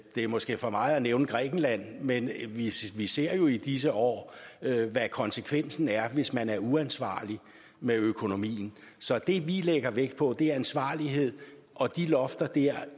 det måske er for meget at nævne grækenland men vi ser jo i disse år hvad konsekvensen er hvis man er uansvarlig med økonomien så det vi lægger vægt på er ansvarlighed og de lofter der